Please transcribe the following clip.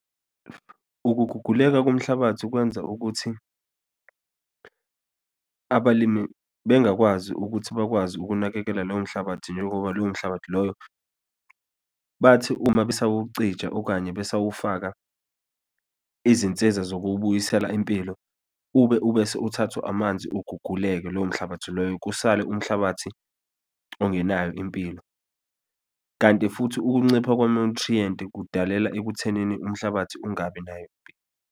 Ukuguguleka komhlabathi kwenza ukuthi abalimi bengakwazi ukuthi bakwazi ukunakekela lowo mhlabathi, njengoba lowo mhlabathi loyo, bathi uma besawucija, okanye besawufaka izinsiza zokuwubuyisela impilo, ube ubese uthathwa amanzi, uguguleke lowo mhlabathi loyo, kusale umhlabathi ongenayo impilo, kanti futhi ukuncipha kwama-nutrient kudalela ekuthenini umhlabathi ungabi nayo impilo.